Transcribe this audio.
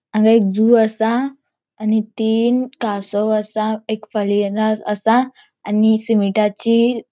हांगा एक जू असा आणि तीन कासव असा एक असा आणि सीमेटाची .